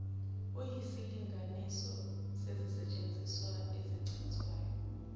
eyisilinganiso sezisetshenziswa ezichithwayo